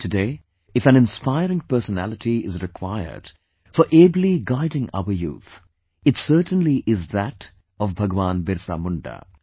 Today, if an inspiring personality is required for ably guiding our youth, it certainly is that of BhagwanBirsaMunda